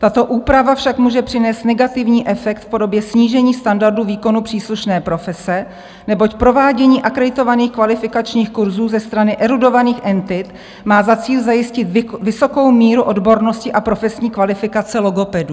Tato úprava však může přinést negativní efekt v podobě snížení standardu výkonu příslušné profese, neboť provádění akreditovaných kvalifikačních kurzů ze strany erudovaných entit má za cíl zajistit vysokou míru odbornosti a profesní kvalifikace logopedů.